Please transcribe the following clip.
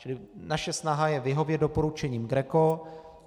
Čili naše snaha je vyhovět doporučení GRECO.